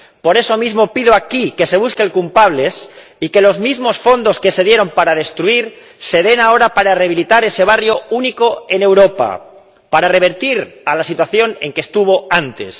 Por eso mismo, pido aquí que se busquen culpables y que los mismos fondos que se dieron para destruir se den ahora para rehabilitar ese barrio único en Europa, para revertir a la situación en que estuvo antes.